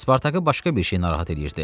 Spartakı başqa bir şey narahat eləyirdi.